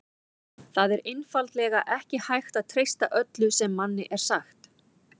Það er einfaldlega ekki hægt að treysta öllu sem manni er sagt.